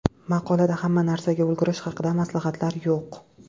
Maqolada hamma narsaga ulgurish haqida maslahatlar yo‘q.